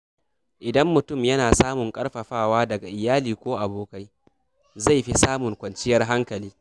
Idan mutum yana samun ƙarfafawa daga iyali ko abokai, zai fi samun kwanciyar hankali.